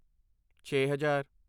ਛੇ ਹਜ਼ਾਰ